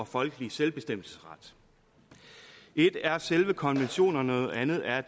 og folkelige selvbestemmelsesret ét er selve konventionerne og noget andet er